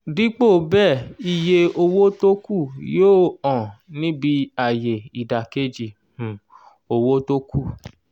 dípò bẹ́ẹ̀ iye owó tókù yóò hàn níbí ayé ìdàkejì um owó tókù.